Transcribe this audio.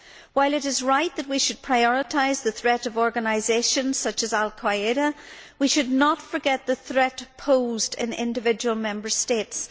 While it is right that we should prioritise the threat of organisations such as al Qa'ida, we should not forget the threat posed in individual Member States.